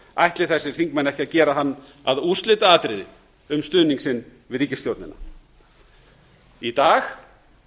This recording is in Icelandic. ætli þessir þingmenn ekki að gera hann að úrslitaatriði um stuðning sinn við ríkisstjórnina í dag